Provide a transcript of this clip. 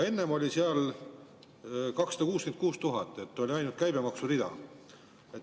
Enne oli seal 266 000, oli ainult käibemaksu rida.